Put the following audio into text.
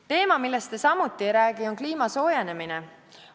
Teema, millest te samuti ei räägi, on kliima soojenemine.